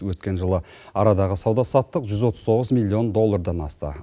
өткен жылы арадағы сауда саттық жүз отыз тоғыз миллион доллардан асты